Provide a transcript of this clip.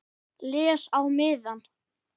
Les á miðann.